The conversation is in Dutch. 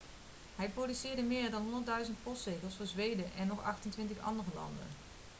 hij produceerde meer dan 1000 postzegels voor zweden en nog 28 andere landen